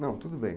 Não, tudo bem.